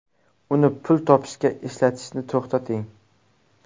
Uni pul topishga ishlatishni to‘xtating.